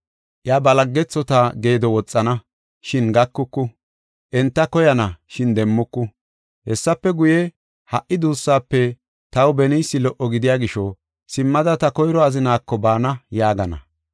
Iya ba laggethota geedo woxana, shin gakuku; enta koyana, shin demmuku. Hessafe guye, ‘Ha77i duussaafe taw beniysi lo77o gidiya gisho, simmada ta koyro azinaako baana’ yaagana.